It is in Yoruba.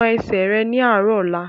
Na ẹsẹ̀ rẹ ní àárọ̀ ọ̀la!